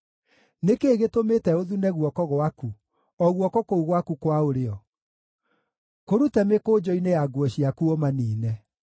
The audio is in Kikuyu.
Nĩ kĩĩ gĩtũmĩte ũthune guoko gwaku, o guoko kũu gwaku kwa ũrĩo? Kũrute mĩkũnjo-inĩ ya nguo ciaku ũmaniine!